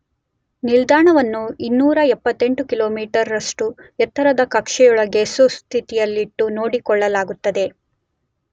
ನಿಲ್ದಾಣವನ್ನು 278 ಕಿಲೋಮೀಟರ್ ರಷ್ಟು ಎತ್ತರದ ಕಕ್ಷೆಯೊಳಗೆ ಸುಸ್ಥಿತಿಯಲ್ಲಿಟ್ಟು ನೋಡಿಕೊಳ್ಳಲಾಗುತ್ತದೆ.